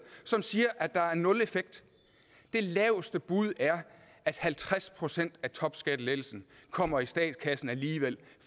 som siger at der er nul effekt det laveste bud er at halvtreds procent af topskattelettelsen kommer i statskassen alligevel